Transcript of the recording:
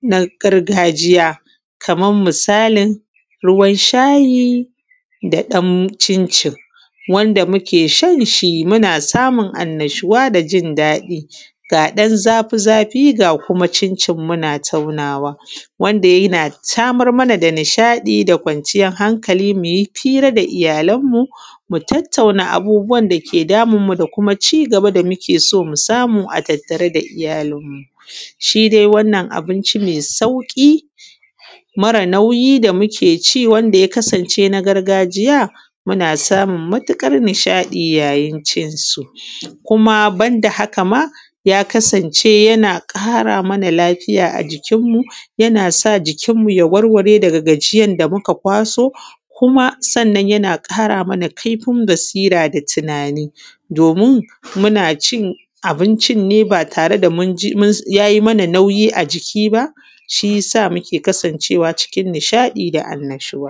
na gargajiya. Kaman misalin shayi da ɗan cin cin wanda muke shanshi muna samun anna shuwa da jin daɗi ga ɗan zafi zafi ga kuma cin cin muna taunawa wanda yana samar mana da nishaɗi da kwanciyar hanakali muyi fira da iyyalan mu mu tattauna abubuwan dake damunmuda kuma cigaba da muke so musamu a tattare da iyyalin mu. Shidai wannan abonci mai sauƙi mara nauyi da mukeci wanda ya kasance na gargajiya muna samun matuƙar nishaɗi yayin cinsu. Kuma banda haka ma ya kasance yana ƙara mana lafiya a jikin mu yasa jikin mu ya warware daga gajiyan da muka kwaso kuma yan ƙara mana kaifin basira da tunani domin munacin abincin ne ba tare da yayi mana nauyi a jiki ba shiya sa muke kasan cewa cikin nishaɗi da anna shuwa.